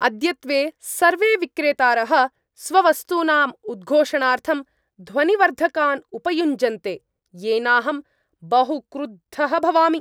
अद्यत्वे सर्वे विक्रेतारः स्ववस्तूनाम् उद्घोषणार्थं ध्वनिवर्धकान् उपयुञ्जन्ते, येनाहं बहु क्रुद्धः भवामि।